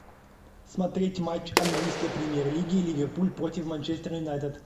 смотреть матч английской премьер лиги ливерпуль против манчестер юнайтед